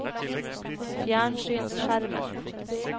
fjernsynsskjermen